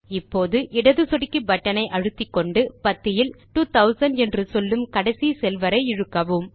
இப்போது இடது சொடுக்கி பட்டன் ஐ அழுத்திக்கொண்டு பத்தியில் 2000 என்று சொல்லும் கடைசி செல் வரை இழுக்கவும்